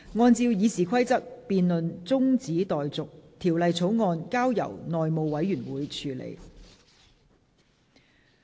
按照《議事規則》，這辯論現在中止待續，條例草案則交由內務委員會處理。